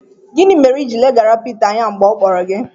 Gịnị mere i ji leghara Pita anya mgbe ọ kpọrọ gị?